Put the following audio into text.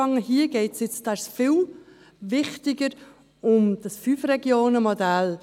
Hier geht es – und dies ist viel wichtiger – um das Fünf-Regionen-Modell.